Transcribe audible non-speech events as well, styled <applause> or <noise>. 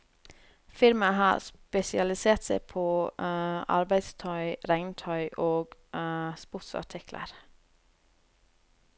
Firmaet har spesialisert seg på <hesitation> arbeidstøy, regntøy og <hesitation> sportsartikler.